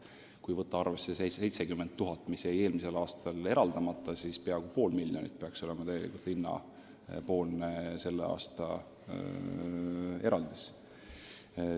Kui võtta arvesse see 70 000 eurot, mis jäi eelmisel aastal eraldamata, siis peaks tegelikult linna tänavune eraldis olema peaaegu pool miljonit.